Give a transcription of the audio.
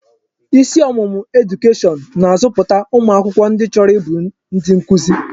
Isi ọmụmụ edukeshọn na-azọpụta ụmụ akwụkwọ ndi chọrọ ịbụ ndi nkuzi.